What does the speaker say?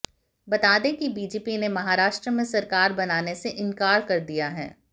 बता दें कि बीजेपी ने महाराष्ट्र में सरकार बनाने से इंकार कर दिया है